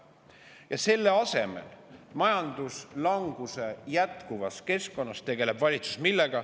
Ja selle asemel tegeleb valitsus jätkuva majanduslanguse keskkonnas millega?